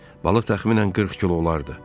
Balıq təxminən 40 kilo olardı.